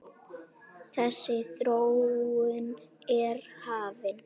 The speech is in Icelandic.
Þessi þróun er hafin.